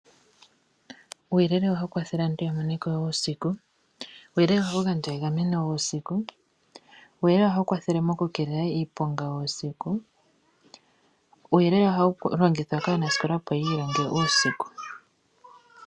Uuyelele ohawu kwathele aantu ya mone ko uusiku. Uuyelele ohawu gandja egameno uusiku. Uuyelele ohawu kwathele mokukeelela iiponga uusiku. Uuyelele ohawu longithwa kaanasikola, opo yi ilonge uusiku.